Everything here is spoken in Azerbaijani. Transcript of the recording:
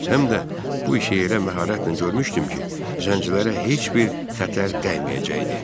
Həm də bu işi elə məharətlə görmüşdüm ki, zəncilərə heç bir xətər qəyməyəcəkdi.